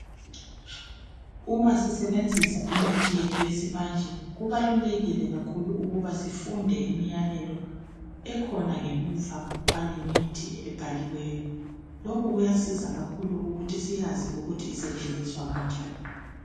Uma sisebenzisa imithi yethu yesimanje kubalulekile kakhulu ukuba sifunde imiyalelo ekhona ngemuva kwalemithi ebhaliweyo. Lokhu kuyasiza kakhulu ukuthi siyazi ukuthi isetshenziswa kanjani.